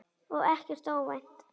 Og ekkert óvænt.